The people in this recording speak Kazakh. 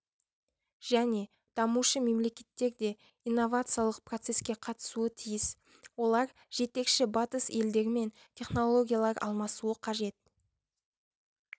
және дамушы мемлекеттер де инновациялық процеске қатысуы тиіс олар жетекші батыс елдерімен технологиялар алмасуы қажет